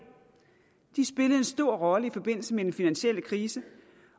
de spillede en stor rolle i forbindelse med den finansielle krise